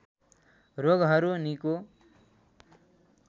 रोगहरू निको